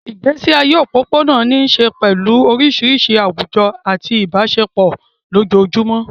Ìgbésí ayé òpópónà ní í ṣe pẹ̀lú oríṣiríṣi àwùjọ àti ìbáṣepọ̀ ojoojúmọ́.